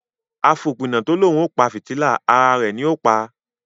àfópína to l'òun o pá fìtílà àrà rẹ ní o pá.